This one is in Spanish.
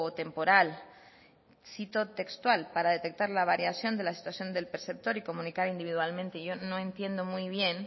temporal cito textual para detectar la variación de la situación del perceptor y comunicar individualmente yo no entiendo muy bien